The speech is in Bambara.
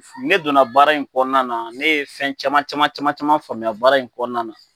Ne donna baara in kɔnɔna na, ne ye fɛn caman caman caman caman faamuya baara in kɔnɔna na.